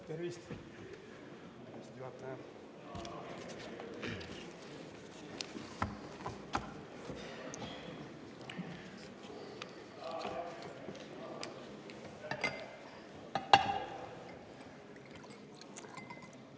Tervist, juhataja!